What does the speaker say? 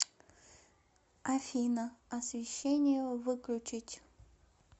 афина освещение выключить